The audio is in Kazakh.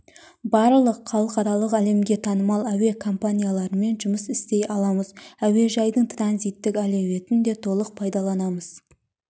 барлық халықаралық әлемге танымал әуе компанияларымен жұмыс істей аламыз әуежайдың транзиттік әлеуетін де толық пайдаланамыз